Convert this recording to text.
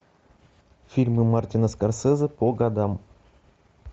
фильмы мартина скорсезе по годам